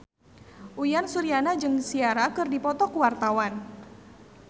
Uyan Suryana jeung Ciara keur dipoto ku wartawan